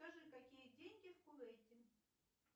скажи какие деньги в кувейте